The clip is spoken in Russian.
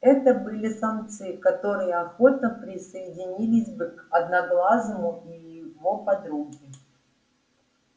это были самцы которые охотно присоединились бы к одноглазому и его подруге